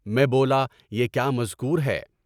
میں بولا کہ یہ کیا مذکور ہے؟